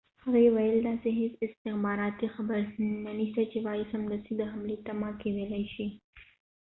هغې وويل داسې هیڅ استخباراتی خبر نه شته چې ووایي سمدستی د حملی تمه کېدلای شي